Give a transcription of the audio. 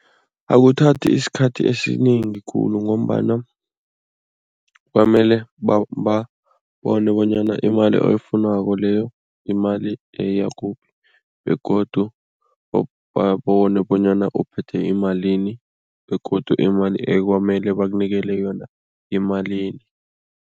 Akuthathi isikhathi esiningi khulu ngombana kwamele babone bonyana imali oyifunako leyo yimali yakuphi begodu babone bonyana uphethe imalini begodu imali ekwamele bakunikele yona yimalini.